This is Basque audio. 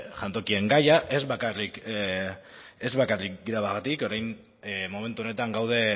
jantokien gaia ez bakarrik grebagatik orain momentu honetan gaude